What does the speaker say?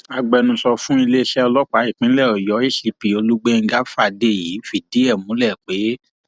agbẹnusọ fún iléeṣẹ ọlọpàá ìpínlẹ ọyọ acp olùgbèńgá fàdèyí fìdí ẹ múlẹ pé